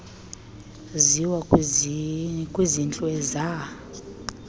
ziwa kwizintlu ezahl